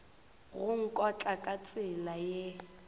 go nkotla ka tsela ye